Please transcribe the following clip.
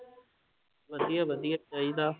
ਵਧੀਆ ਵਧੀਆ ਚਾਹੀਦਾ।